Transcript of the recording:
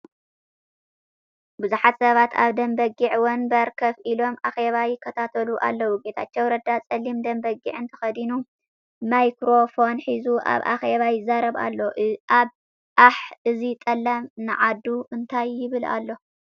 ቡዙሓት ሰባት ኣብ ደም በጊዕ ወንበር ኮፍ ኢሎም ኣኬባ ይከታተሉ ኣለው። ጌታቸው ረዳ ጸሊምን ደም በጊዕን ተከዲኑ ማይ ክሮፎን ሒዙ ኣብ ኣኬባ ይዛርብ ኣሎ። ኣሕ! እዚ ጠላም ንዓዱ እንታይ ይብል ኣሎ?